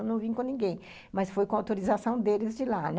Eu não vim com ninguém, mas foi com a autorização deles de lá, né?